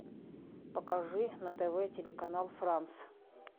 покажи на тв телеканал франс